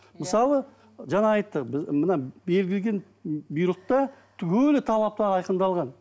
мысалы жаңа айттық мына берілген бұйрықта түгелі талаптар айқындалған